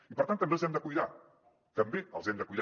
i per tant també els hem de cuidar també els hem de cuidar